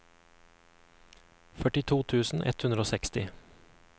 førtito tusen ett hundre og seksti